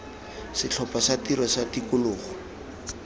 setlhopha sa tiro sa tikologo